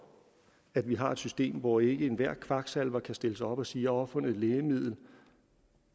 at vi har et system hvor ikke enhver kvaksalver kan stille sig op og sige opfundet et lægemiddel